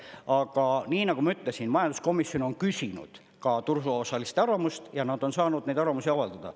Aga nii, nagu ma ütlesin, majanduskomisjon on küsinud ka turuosaliste arvamust ja nad on saanud neid arvamusi avaldada.